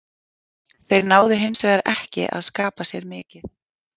Þeir náðu hinsvegar ekki að skapa sér mikið.